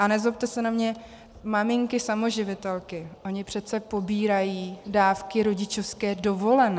A nezlobte se na mě, maminky samoživitelky, ony přece pobírají dávky rodičovské dovolené.